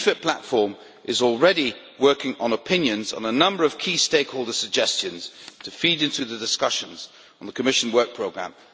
The REFIT platform is already working on opinions on a number of key stakeholders' suggestions to feed into the discussions on the Commission Work Programme.